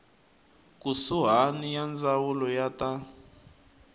kusuhani ya ndzawulo ya ta